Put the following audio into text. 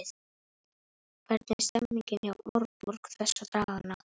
Hvernig er stemmningin hjá Árborg þessa dagana?